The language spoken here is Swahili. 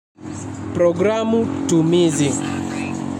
Programu tumizi.